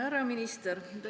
Härra minister!